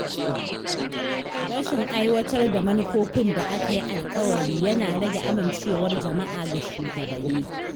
Rashin aiwatar da manufofin da aka yi alƙawari yana rage amincewar jama’a ga shugabanni.